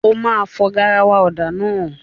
O máa fọ garawa ọ̀dà náà.